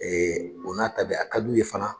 o n'a ta bɛɛ a ka d'u ye fana